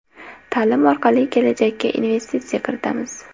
Ta’lim orqali kelajakka investitsiya kiritamiz.